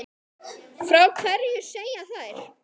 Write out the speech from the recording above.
Frá hverju segja þær?